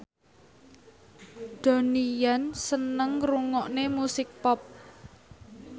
Donnie Yan seneng ngrungokne musik pop